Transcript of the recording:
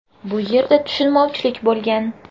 Bu yerda tushunmovchilik bo‘lgan.